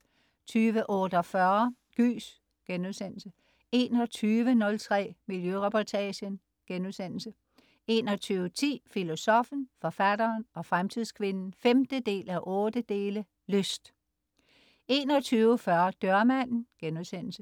20.48 Gys* 21.03 Miljøreportagen* 21.10 Filosoffen, forfatteren og fremtidskvinden 5:8. Lyst 21.40 Dørmanden* 21.55